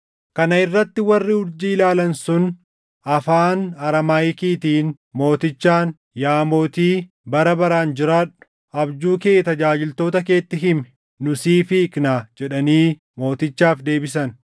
Kana irratti warri urjii ilaalan sun afaan Araamaayikiitiin mootichaan, “Yaa mootii, bara baraan jiraadhu! Abjuu kee tajaajiltoota keetti himi; nu siif hiiknaa” jedhanii mootichaaf deebisan.